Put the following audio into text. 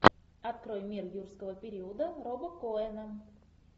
открой мир юрского периода роба коэна